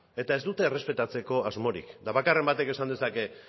eta ez dute errespetatzeko asmorik eta bakarren batek esan dezake